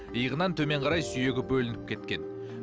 иығынан төмен қарай сүйегі бөлініп кеткен